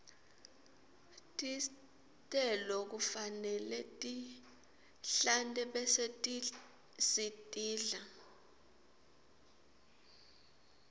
tistelo kufanele sitihlante bese sitidla